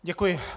Děkuji.